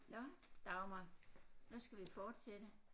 Nåh Dagmar nu skal vi fortsætte